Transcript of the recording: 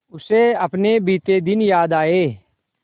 उसे अपने बीते दिन याद आए